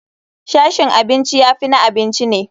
Sashin abinci ya fi na abinci ne.